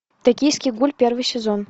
токийский гуль первый сезон